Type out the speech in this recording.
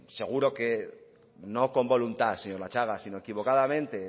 seguro que no con voluntad señor latxaga sino equivocadamente